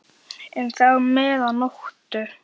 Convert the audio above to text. Magnað alveg